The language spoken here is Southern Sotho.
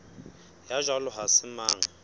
ya jwalo ha se mang